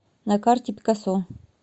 на карте пикассо